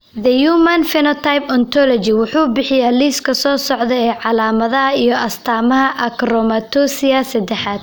The Human Phenotype Ontology wuxuu bixiyaa liiska soo socda ee calaamadaha iyo astaamaha Achromatopsia sedexad.